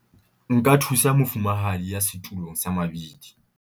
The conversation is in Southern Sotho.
nka thusa mofumahadi ya setulong sa mabidi